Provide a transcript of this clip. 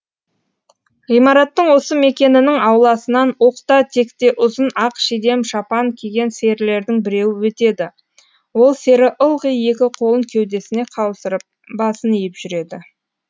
ғымараттың осы мекенінің ауласынан оқта текте ұзын ақ шидем шапан киген серілердің біреуі өтеді ол сері ылғи екі қолын кеудесіне қаусырып басын иіп жүреді